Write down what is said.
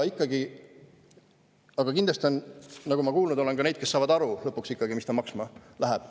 Kindlasti on ka neid, nagu ma kuulnud olen, kes saavad ikkagi aru, mis see kõik lõpuks maksma läheb.